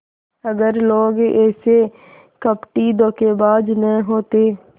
अगर लोग ऐसे कपटीधोखेबाज न होते